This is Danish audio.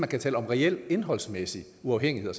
kan tale om reel indholdsmæssig uafhængighed